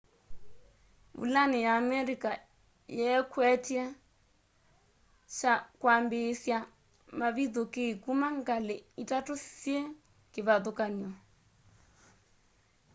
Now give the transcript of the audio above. vulani ya amerika yeekwety'e kwambiisya mavithukii kuma ngali itatu syi kivathukany'o